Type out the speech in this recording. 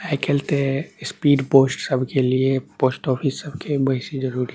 आय काएल ते स्पीड पोस्ट सब के लिए पोस्टऑफिस सब के बैसी जरूरी --